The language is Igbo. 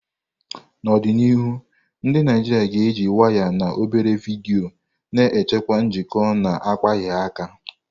N'ọdịnihu, ndị Naijiria ga-eji waya na obere vidiyo na-echekwa njikọ na-akpaghị aka.